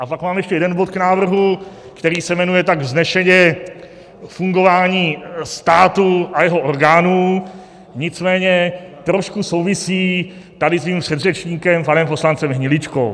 A pak mám ještě jeden bod k návrhu, který se jmenuje tak vznešeně Fungování státu a jeho orgánů, nicméně trošku souvisí tady s mým předřečníkem, panem poslancem Hniličkou.